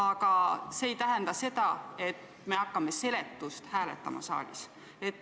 Aga see ei tähenda seda, et me võime saalis hakata seletust hääletama.